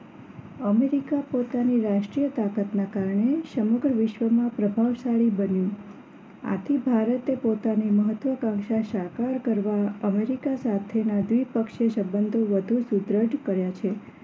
America પોતાની રાષ્ટ્રીય તાકાત ના કારણે સમગ્ર વિશ્વમાં પ્રભાવશાળી બન્યું આથી ભારતે પોતાની મહત્વકાંક્ષા સાકાર કરવા અમેરિકા સાથે ના દ્વીપ પક્ષે સંબંધ વધુ સુબંધ કર્યા છે